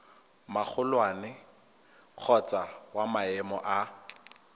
magolwane kgotsa wa maemo a